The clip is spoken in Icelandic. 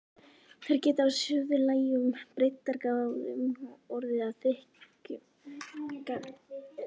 Þær geta á suðlægum breiddargráðum orðið að þykkum jarðlögum.